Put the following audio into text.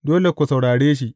Dole ku saurare shi.